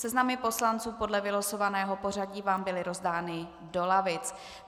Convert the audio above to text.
Seznamy poslanců podle vylosovaného pořadí vám byly rozdány do lavic.